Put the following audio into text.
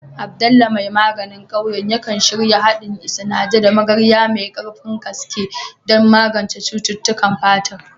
Abdullah mai maganin ƙauyen, yakan shirya haɗin Isanaje da Magarya mai ƙarfin gaske don magance cututtukan fata.